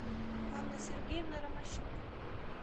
анна сергеевна ромащенко